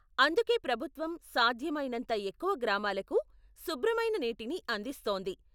అందుకే ప్రభుత్వం సాధ్యమైనంత ఎక్కువ గ్రామాలకు శుభ్రమైన నీటిని అందిస్తోంది.